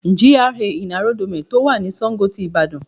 GRA in Aerodome to wà ni Sango ti Ìbàdàn